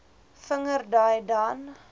vinger dui dan